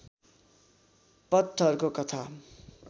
पत्थरको कथा